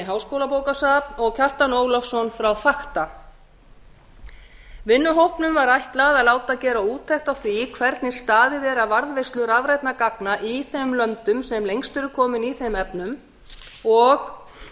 háskólabókasafni og kjartan ólafsson frá fakta vinnuhópnum var ætlað að láta gera úttekt á því hvernig staðið er að varðveislu rafrænna gagna í þeim löndum sem lengst eru komin í þeim efnum og